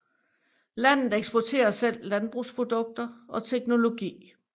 Landet eksporterer selv landbrugsprodukter og teknologi